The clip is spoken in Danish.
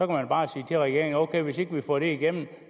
man bare sige til regeringen ok hvis ikke vi får det igennem